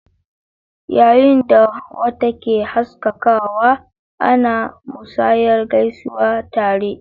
Yayin da wata ke haskakawa, ana musayar gaisuwar dare.